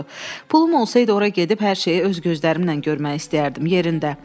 "Pul olsaydı ora gedib hər şeyi öz gözlərimlə görmək istəyərdim yerində."